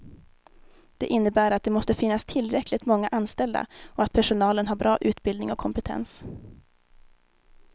Det innebär att det måste finnas tillräckligt många anställda och att personalen har bra utbildning och kompetens.